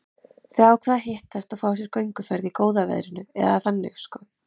Þau ákváðu að hittast og fá sér gönguferð í góða veðrinu, eða þannig sko.